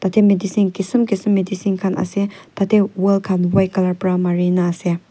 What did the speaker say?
etia medicine kism kism medicine khan ase tah teh wall khan white colour para mari na ase.